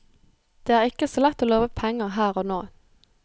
Det er ikke så lett å love penger her og nå.